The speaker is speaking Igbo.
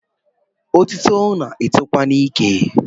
Otito na-etokwa n’ike